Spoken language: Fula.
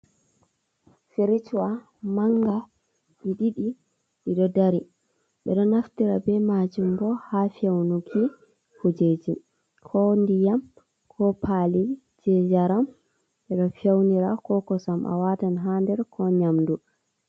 Firijwa manga ɗi ɗiɗi ɗiɗo ɗari. Ɓeɗo naftira ɓe majum ɓo ha feunuki kujeji. Ko nɗiyam, ko pali je jaram, ɓeɗo feunira, ko kosam a watan ha nɗer, ko nyamɗu.